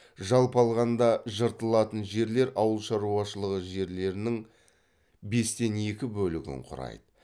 жалпы алғанда жыртылатын жерлер ауыл шаруашылығы жерлерінің бестен екі бөлігін құрайды